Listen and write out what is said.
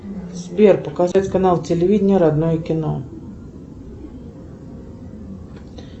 сбер показать канал телевидения родное кино